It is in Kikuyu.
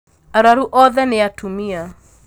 Arwaru othe nĩatumia.